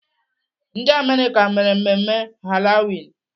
Ndị Amerịka mere mmemme Halloween.